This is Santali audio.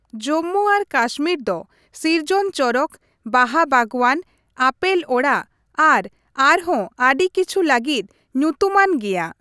ᱡᱚᱢᱢᱩ ᱟᱨ ᱠᱟᱥᱢᱤᱨ ᱫᱚ ᱥᱤᱨᱡᱚᱱ ᱪᱚᱨᱚᱠ, ᱵᱟᱦᱟ ᱵᱟᱜᱽᱣᱟᱱ, ᱟᱯᱮᱞ ᱚᱲᱟᱜ ᱟᱨ ᱟᱨᱦᱚᱸ ᱟᱹᱰᱤ ᱠᱤᱪᱷᱩ ᱞᱟᱹᱜᱤᱫ ᱧᱩᱛᱩᱢᱟᱱ ᱜᱮᱭᱟ ᱾